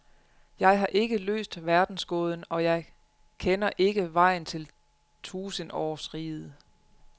Jeg har ikke løst verdensgåden, og jeg kender ikke vejen til tusindårsriget.